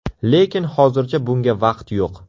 Lekin hozircha bunga vaqt yo‘q.